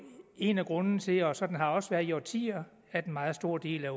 en af grundene til og sådan har det også været i årtier at en meget stor del af